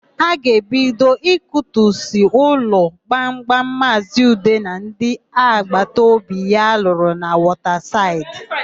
A ga-ebido ikutu ụlọ gbamgbam Maazị Ude na ndị agbata obi ya lụrụ na Wọtasaịdị.